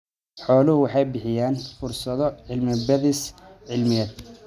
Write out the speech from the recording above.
Xooluhu waxay bixiyaan fursado cilmi-baadhis cilmiyeed.